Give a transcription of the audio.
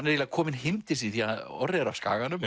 eiginlega kominn heim til sín því Orri er af Skaganum